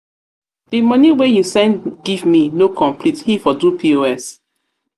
the money wey he send give me no complete he for do pos.